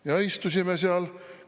Ja istusime seal.